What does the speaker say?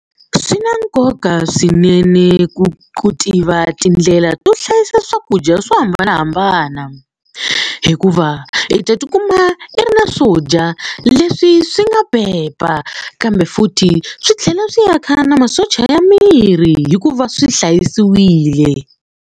Swi na nkoka swinene ku tiva tindlela to hlayisa swakudya swo hambanahambana hikuva i ta ti kuma i ri na swo dya leswi swi nga pepa kambe futhi swi tlhela swi yaka na masocha ya miri hikuva swi hlayisiwile.